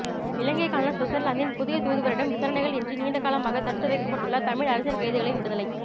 இலங்கைக்கான சுவிட்சர்லாந்தின் புதிய தூதுவரிடம் விசாரணைகள் இன்றி நீண்டகாலமாக தடுத்து வைக்கப்பட்டுள்ள தமிழ் அரசியல் கைதிகளின் விடுதலை